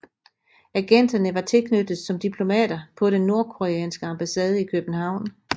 Agenterne var tilknyttet som diplomater på den nordkoreanske ambassade i København